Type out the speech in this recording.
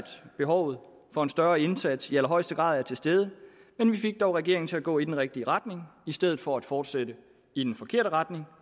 behovet for en større indsats i allerhøjeste grad er til stede men vi fik dog regeringen til at gå i den rigtige retning i stedet for at fortsætte i den forkerte retning